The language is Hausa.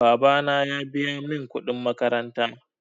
Babana ya biya min kudin makaranta.